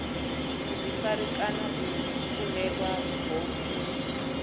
vhuḓifari kana o kundelwaho u